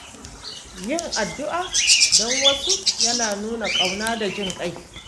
Yin addu’a don wasu yana nuna ƙauna da jin ƙai.